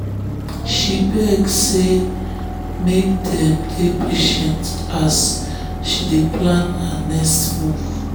she beg say make dem um dey patient as she dey plan her next move.